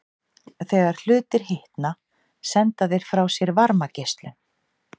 Þegar hlutir hitna senda þeir frá sér varmageislun.